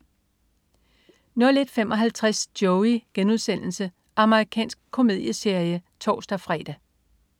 01.55 Joey.* Amerikansk komedieserie (tors-fre)